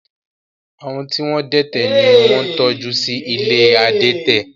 Àwọn tí wọ́n dẹ́tẹ̀ ni wọ́n ń tọ́jú sí ilé adẹ́tẹ̀